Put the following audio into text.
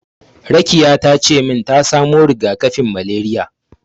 Rakiya tace min ta samo riga-kafin malariya.